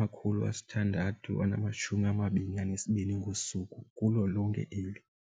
032 622 ngosuku kulo lonke eli.